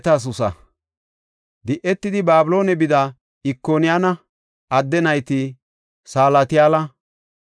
Di7etidi Babiloone bida Ikoniyaana adde nayti Salatiyaala,